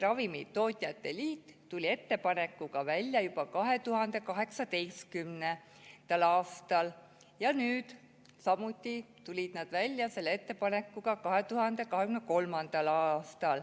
Ravimitootjate Liit tuli ettepanekuga välja juba 2018. aastal ja ka nüüd tulid nad selle ettepanekuga välja.